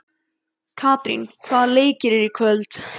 Katrín, hvaða leikir eru í kvöld?